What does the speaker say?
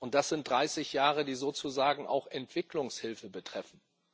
Das sind 30 Jahre, die sozusagen auch Entwicklungshilfe betreffen.